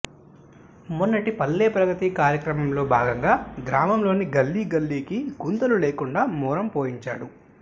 మొన్నటి పల్లె ప్రగతి కార్యక్రమంలో భాగంగా గ్రామంలోని గల్లీ గల్లీకి గుంతలు లేకుండా మొరం పోయించాడు